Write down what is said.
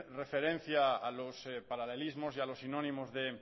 referencia a los paralelismos y a los sinónimos de